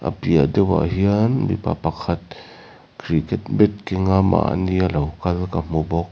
piah deuh ah hian mipa pakhat cricket bat keng a mahni a lo kal ka hmu bawk.